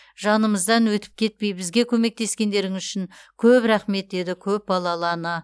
жанымыздан өтіп кетпей бізге көмектескендеріңіз үшін көп рахмет деді көпбалалы ана